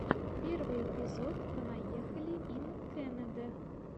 первый эпизод понаехали ин кэнэдэ